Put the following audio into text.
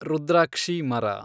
ರುದ್ರಾಕ್ಷಿ ಮರ